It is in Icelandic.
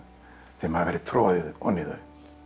þeim hafi verið troðið ofan í þau